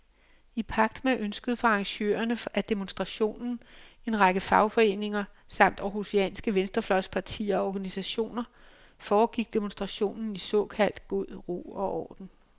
I pagt med ønsket fra arrangørerne af demonstrationen, en række fagforeninger samt århusianske venstrefløjspartier og organisationer, foregik demonstrationen i såkaldt god ro og orden.